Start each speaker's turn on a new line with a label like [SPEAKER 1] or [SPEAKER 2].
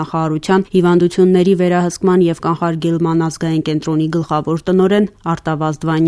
[SPEAKER 1] նախարարության Հիվանդությունների վերահսկման և կանխարգելման ազգային կենտրոնի գլխավոր տնօրեն Արտավազդ Վանյանը: